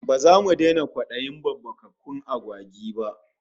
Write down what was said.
Ba zamu daina kwadayin babbakakkun agwagi ba